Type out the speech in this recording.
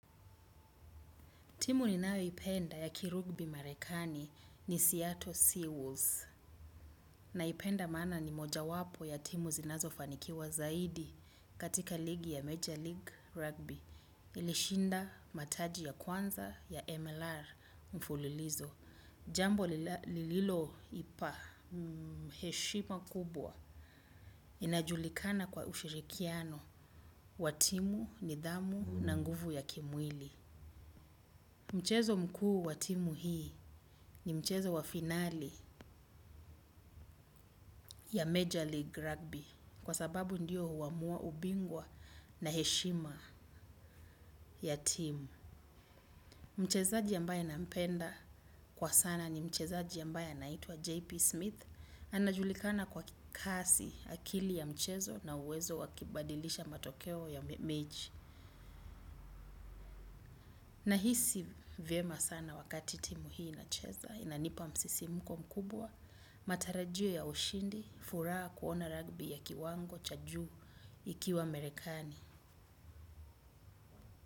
Timu ninayoipenda ya kirugbi marekani ni Seattle Seawalls. Naipenda maana ni moja wapo ya timu zinazo fanikiwa zaidi katika ligi ya Major League Rugby. Ilishinda mataji ya kwanza ya MLR mfulilizo. Jambo lililoipa heshima kubwa. Inajulikana kwa ushirikiano watimu, nidhamu na nguvu ya kimwili. Mchezo mkuu wa timu hii ni mchezo wa finali Ya Major League Rugbi. Kwa sababu ndiyo huamua ubingwa na heshima ya timu. Mchezaji ambaye nampenda kwa sana ni mchezaji ambaye anaitwa JP Smith. Anajulikana kwa kasi, akili ya mchezo na uwezo wa kibadilisha matokeo ya mechi. Nahisi vyema sana wakati timu hii inacheza, inanipa msisimuko mkubwa. Matarajio ya ushindi, furaha kuona rugbi ya kiwango cha juu ikiwa merekani.